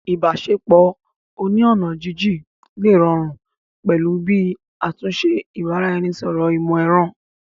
Ìbáṣepọ̀ oní ọ̀nà jínjín lè rọrùn pẹ̀lú bí àtúnṣe ìbára-ẹni-sọ̀rọ̀ ìmọ̀ ẹ̀rọ